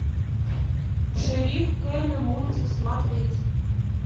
шериф келли мультик смотреть